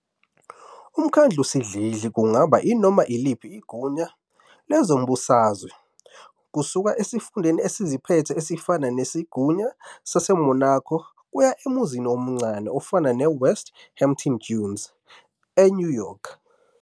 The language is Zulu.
UMkhandlusidlidli kungaba inoma iliphi igunya lezombusazwe, kusuka esifundeni esiziphethe esifana nesiGunya sase-Monaco, kuya emuzini omncane ofana ne-West Hampton Dunes, e-New York.